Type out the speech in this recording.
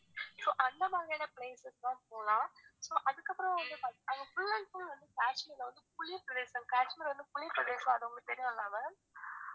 so அந்த மாதிரியான places எல்லாம் போலாம் so அதுக்கப்பறம் வந்து பாத்தி~ அங்க full and full வந்து காஷ்மீர்ல வந்து குளிர்ப்பிரேதேசம் காஷ்மீர் வந்து குளிர்ப்பிரேதேசம் அது உங்களுக்கு தெரியும்ல ma'am